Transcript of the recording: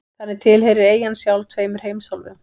Þannig tilheyrir eyjan sjálf tveimur heimsálfum.